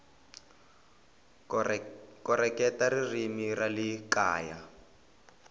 koreketa ririmi ra le kaya